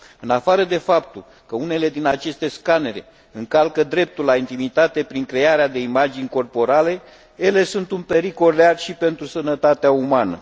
În afară de faptul că unele dintre aceste scanere încalcă dreptul la intimitate prin crearea de imagini corporale, ele sunt un pericol real și pentru sănătatea umană.